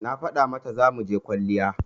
Na faɗa mata zamuje kwalliya